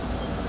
Aparır.